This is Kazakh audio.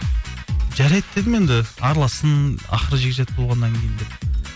жарайды дедім енді аралассын ақыры жекжат болғаннан кейін деп